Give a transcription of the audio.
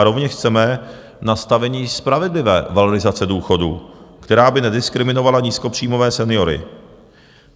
A rovněž chceme nastavení spravedlivé valorizace důchodů, která by nediskriminovala nízkopříjmové seniory.